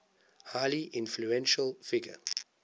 highly influential figure